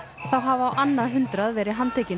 þá hafa á annað hundrað verið handtekin